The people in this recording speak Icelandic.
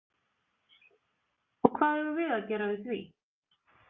Og hvað eigum við að gera við því?